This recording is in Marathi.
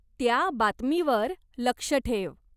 त्या बातमीवर लक्ष ठेव.